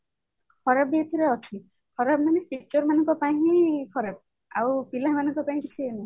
ଖରାପ ବି ଏଥିରେ ଅଛି ଖରାପ ମାନେ teacher ମାନଙ୍କ ପାଇଁ ହିଁ ଖରାପ ଆଉ ପିଲାମାନଙ୍କ ପାଇଁ କିଛି ଇଏ ନୁହଁ